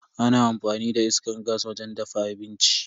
Ana amfani da iskar gas wajen dafa abinci.